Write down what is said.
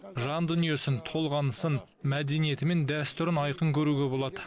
жан дүниесін толғанысын мәдениеті мен дәстүрін айқын көруге болады